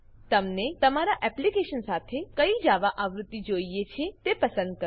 તમને તમારી એપ્લીકેશન સાથે કઈ જાવા આવૃત્તિ જોઈએ છે તે પસંદ કરો